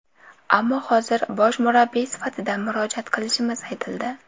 Ammo hozir bosh murabbiy sifatida murojaat qilishimiz aytildi.